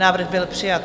Návrh byl přijat.